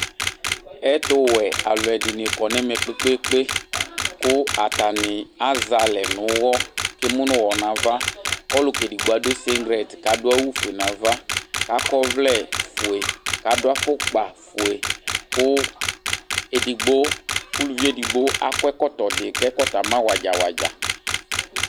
Ɛtʋwɛ alʋɛdini kɔnʋ ɛmɛ kpe kpe kpe kʋ atani azɛ alɛ nʋ ʋwɔ kʋ emʋnʋ ʋwɔ nʋ ava kʋ ɔlʋka edigbo adʋ singlɛt kʋ adʋ awʋfue nʋ ava kʋ akɔ ɔvlɛfue kʋ adʋ afʋkpafue kʋ ʋlʋvi edigbo akɔ ɛkɔtɔdi kʋ ama wadza wadza